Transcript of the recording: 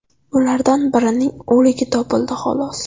Ulardan birining o‘ligi topildi, xolos.